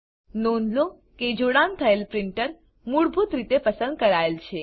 નોંધ લો કે જોડાણ થયેલ પ્રીંટર મૂળભૂત રીતે પસંદ કરાયેલ છે